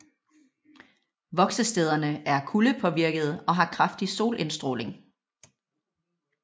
Voksestederne er kuldepåvirkede og har kraftig solindstråling